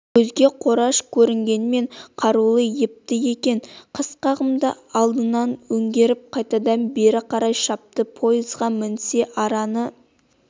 көзге қораш көрінгенмен қарулы епті екен қасқағымда алдына өңгеріп қайтадан бері қарай шапты поезға мінсе араны